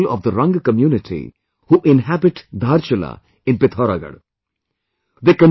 There are many people of the Rang community who inhabit Dhaarchulaa in PithauraagaRh